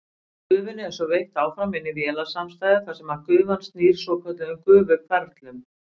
Gufunni er svo veitt áfram inn í vélasamstæðu þar sem gufan snýr svokölluðum gufuhverflum.